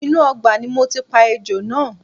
Inú ọgbà ni mo ti pa ejò náà